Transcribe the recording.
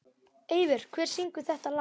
Eivör, hver syngur þetta lag?